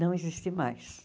Não existe mais.